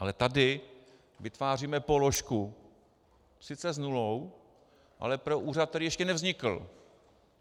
Ale tady vytváříme položku sice s nulou, ale pro úřad, který ještě nevznikl.